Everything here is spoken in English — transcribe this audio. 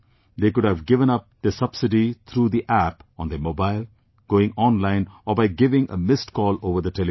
They could have given up their subsidy through the App on their mobile, going online or by giving a missed call over the telephone